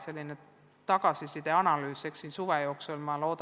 Ma loodan, et jõuame tagasiside analüüsi suve jooksul tehtud.